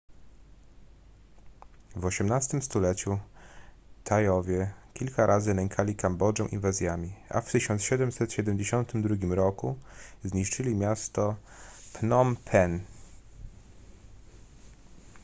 w osiemnastym stuleciu tajowie kilka razy nękali kambodżę inwazjami a w 1772 roku zniszczyli miasto phnom penh